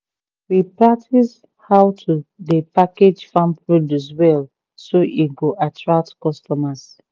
we practice how to dey package farm produce well so e go attract customers